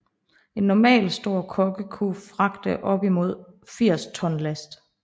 En normalstor kogge kunne fragte op imod 80 ton last